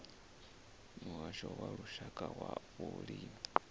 muhasho wa lushaka wa vhulimi